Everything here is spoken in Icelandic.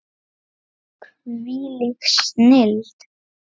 Hvílík snilld!